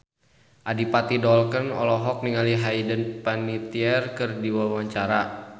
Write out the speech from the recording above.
Adipati Dolken olohok ningali Hayden Panettiere keur diwawancara